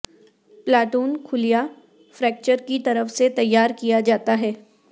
platoon خلیہ fracture کی طرف سے تیار کیا جاتا ہے